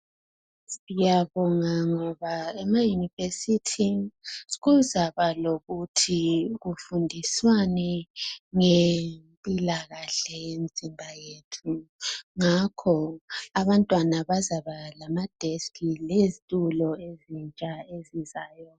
Siyabonga ngoba ema university kuzaba kuzaba lokuthi kufundiswane ngempilakahle yemizimba yethu ngakho abantwana bazaba lamadesk lezitulo ezintsha ezizayo